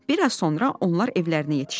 Bir az sonra onlar evlərinə yetişdilər.